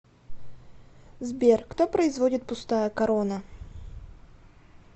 сбер кто производит пустая корона